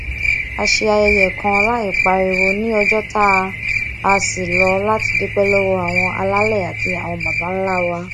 a ṣe ayẹyẹ kan láìpariwo ní ọjó tá a ṣí lọ láti dúpé lówó àwọn alálẹ àti àwọn babańlá wa